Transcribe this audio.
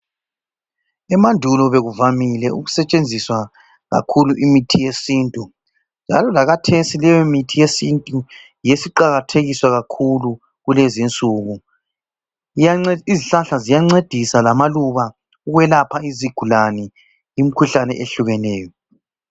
Emandulo bekuvamile kakhulu ukusetshenziswa imithi yesintu. Njalo lakhathesi leyo mithi yesintu yiyo esiqakathekiswa kakhulu kulezinsuku. Izihlahla ziyancedisa lamaluba ukwelapha izigulane imikhuhlane eyehlukeneyo.